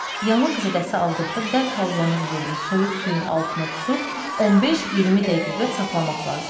Yanıq zədəsi aldıqda dərhal yanıq yerini soyuq suyun altına tutub 15-20 dəqiqə saxlamaq lazımdır.